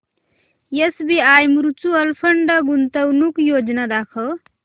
SBI mutual fund गुंतवणूक योजना दाखव